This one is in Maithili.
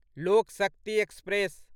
लोक शक्ति एक्सप्रेस